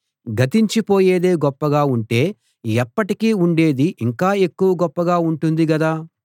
గతించి పోయేదే గొప్పగా ఉంటే ఎప్పటికీ ఉండేది ఇంకా ఎక్కువ గొప్పగా ఉంటుంది గదా